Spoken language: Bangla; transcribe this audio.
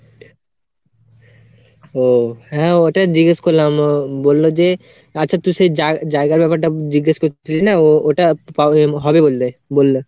ও হ্যাঁ, ওটা জিগেস করলাম বললো যে, আচ্ছা তুই সেই জায়গার ব্যাপারটা জিজ্ঞেস করছিলিস না ও ওটা হবে বললে, বললো।